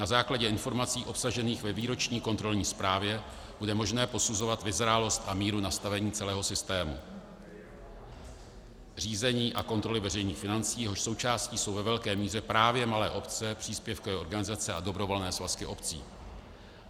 Na základě informací obsažených ve výroční kontrolní zprávě bude možné posuzovat vyzrálost a míru nastavení celého systému řízení a kontroly veřejných financí, jehož součástí jsou ve velké míře právě malé obce, příspěvkové organizace a dobrovolné svazky obcí.